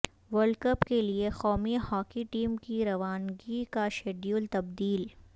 world cup کیلیے قومی hockey team کی روانگی کا شیڈول تبدیل